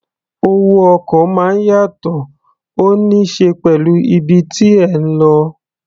Owó ọkọ̀ máa ń yàtọ̀, ó ní ṣe pẹ̀lú ibi tí ẹ̀ ń lọ.